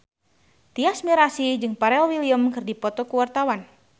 Tyas Mirasih jeung Pharrell Williams keur dipoto ku wartawan